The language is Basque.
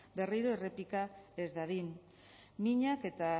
berriro errepika ez dadin minak eta